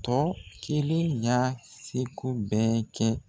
Tɔ kelen y'a seko bɛɛ kɛ.